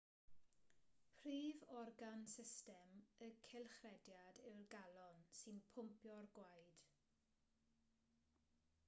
prif organ system y cylchrediad yw'r galon sy'n pwmpio'r gwaed